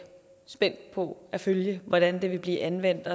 spændt på at følge hvordan det vil blive anvendt